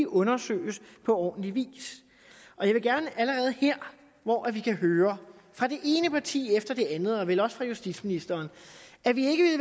undersøges på ordentlig vis og jeg vil gerne allerede her hvor vi kan høre fra det ene parti efter det andet og vel også fra justitsministeren at vi ikke